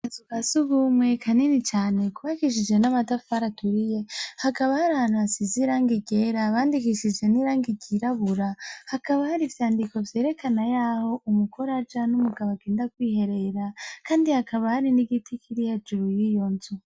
Akazu ka surwumwe kanini cane kubakishije n'amatafari aturiye hakaba hari hantu hasize irangi ryera bandikishije n'irangi ryirabura hakaba hari ivyandiko vyerekana yaho umugore aja n'umugabo agenda kwiherera kandi hakaba hari n'igiti kiri hejuru y'iyo nzu.